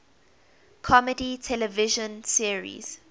comedy television series